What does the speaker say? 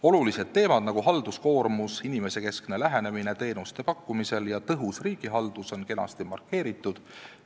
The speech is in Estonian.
Olulised teemad, nagu halduskoormus, inimesekeskne lähenemine teenuste pakkumisel ja tõhus riigihaldus, on kenasti markeeritud.